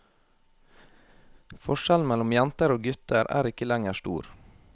Forskjellen mellom jenter og gutter er ikke lenger stor.